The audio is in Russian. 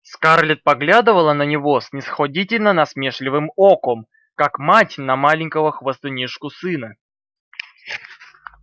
скарлетт поглядывала на него снисходительно-насмешливым оком как мать на маленького хвастунишку-сына